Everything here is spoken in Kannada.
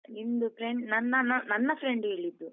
ನಿಮ್ದು friend ನನ್ನ ನನ್ನ friend ಹೇಳಿದ್ದು.